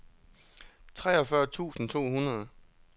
treogfyrre tusind to hundrede